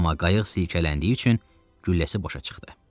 Amma qayıq silkələndiyi üçün gülləsi boşa çıxdı.